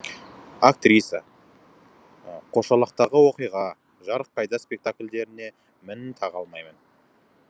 актриса қошалақтағы оқиға жарық кайда спектакльдеріне мін таға алмаймын